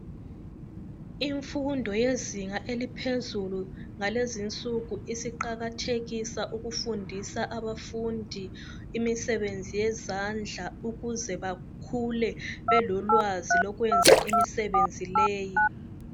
Imfundo yezinga laphezulu, ngalez'insuku isiqakathekisa ukufundisa abafundi imisebenzi yezandla, ukuze bakhule belolwazi lokwenza imisebenzi leyi.